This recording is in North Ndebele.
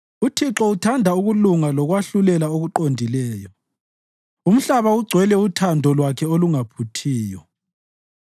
UThixo uthanda ukulunga lokwahlulela okuqondileyo; umhlaba ugcwele uthando lwakhe olungaphuthiyo.